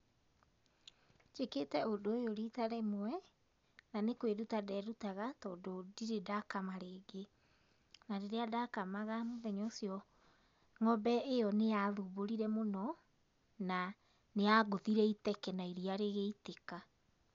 Njĩkĩte ũndũ ũyũ rita rĩmwe, na nĩ kwĩruta nderutaga tondũ ndĩrĩ ndakama rĩngĩ, na rĩrĩa ndakamaga mũthenya ũcio, ng'ombe ĩyo nĩ ya thumbũrire mũno, na nĩ yangũthire iteke na iria rĩgĩitĩka.